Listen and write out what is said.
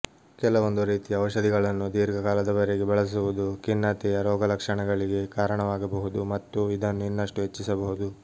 ಕೆಲವೊಂದು ರೀತಿಯ ಔಷಧಿಗಳನ್ನು ದೀರ್ಘಕಾಲದವರೆಗೆ ಬಳಸುವುದು ಖಿನ್ನತೆಯ ರೋಗಲಕ್ಷಣಗಳಿಗೆ ಕಾರಣವಾಗಬಹುದು ಮತ್ತು ಇದನ್ನು ಇನ್ನಷ್ಟು ಹೆಚ್ಚಿಸಬಹುದು